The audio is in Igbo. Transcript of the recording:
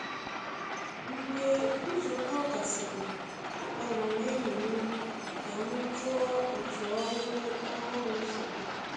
Mgbe nzukọ gasịrị, akpọrọ m enyi m ka m jụọ otu ọrụ ọhụrụ si dị.